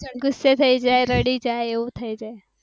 ગુસ્સે થઇ જાય કા રડી જાય એવું થાય